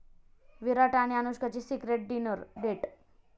विराट आणि अनुष्काची secret dinner date